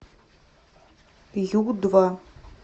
ю два